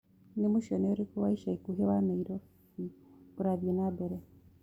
ni mucene ũrĩkũ wa ĩca ĩkũhĩ wa naĩrobĩũrathĩĩ na mbere